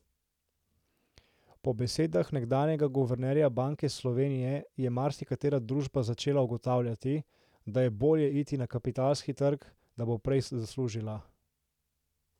Po besedah nekdanjega guvernerja Banke Slovenije je marsikatera družba začela ugotavljati, da je bolje iti na kapitalski trg, da bo prej zaslužila.